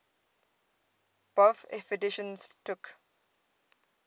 bofh editions took